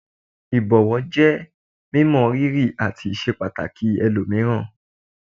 Ìbọ̀wọ̀ jẹ́ mímọ rírì àti ìṣepàtàkì ẹlòmíràn.